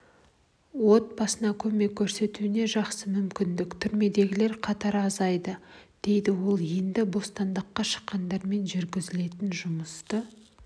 отбасына көмек көрсетуіне жақсы мүмкіндік түрмедегілер қатары азайды дедік ал енді бостандыққа шыққандармен жүргізілетін жұмысты